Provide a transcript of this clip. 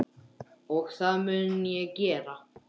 Og það mun ég gera.